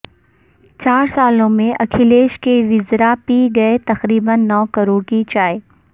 چار سالوں میں اکھلیش کے وزرا پی گئے تقریبا نو کروڑ کی چائے